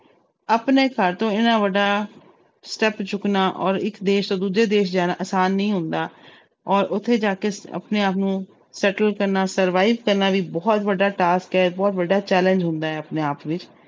ਆਪਣੇ ਘਰ ਤੋਂ ਇੰਨਾ ਵੱਡਾ step ਚੁੱਕਣਾ ਔਰ ਇੱਕ ਦੇਸ ਤੋਂ ਦੂਜੇ ਦੇਸ ਜਾਣਾ ਆਸਾਨ ਨਹੀਂ ਹੁੰਦਾ ਔਰ ਉੱਥੇ ਜਾ ਕੇ ਆਪਣੇ ਆਪ ਨੂੰ settle ਕਰਨਾ survive ਕਰਨਾ ਵੀ ਬਹੁਤ ਵੱਡਾ task ਹੈ, ਬਹੁਤ ਵੱਡਾ challenge ਹੁੰਦਾ ਹੈ ਆਪਣੇ ਆਪ ਵਿੱਚ।